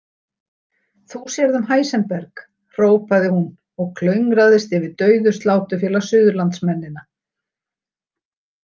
Þú sérð um Heisenberg, hrópaði hún og klöngraðist yfir dauðu Sláturfélag Suðurlands- mennina.